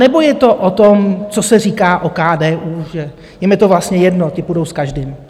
Anebo je to o tom, co se říká o KDU, že jim je to vlastně jedno, ti půjdou s každým?